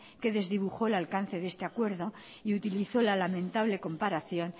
que desdibujó el alcance de este acuerdo y utilizó la lamentable comparación